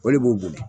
O de b'u boli